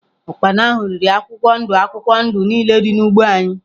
Ụkpana ahụ riri akwụkwọ ndụ akwụkwọ ndụ niile dị n’ugbo anyị.